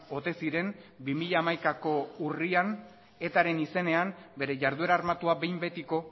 ote ziren bi mila hamaikako urrian etaren izenean bere jarduera armatua behin betiko